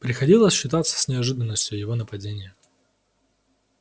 приходилось считаться с неожиданностью его нападения